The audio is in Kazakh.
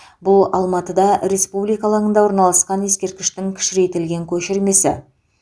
бұл алматыда республика алаңында орналасқан ескерткіштің кішірейтілген көшірмесі